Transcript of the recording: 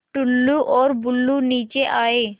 टुल्लु और बुल्लु नीचे आए